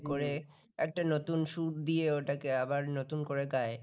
একটা নতুন সুর দিয়ে ওটাকে আবার নতুন করে গায়